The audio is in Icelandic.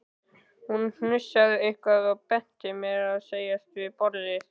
Hún hnussaði eitthvað og benti mér að setjast við borðið.